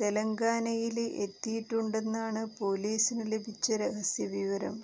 തെലങ്കാനയില് എത്തിയിട്ടുണ്ടെന്നാണ് പോലീസിന് ലഭിച്ച രഹസ്യ വിവരം